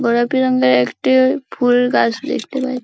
গোলাপি রঙের একটা ফুলগাছ দেখতে পাচ --